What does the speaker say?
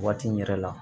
Waati in yɛrɛ la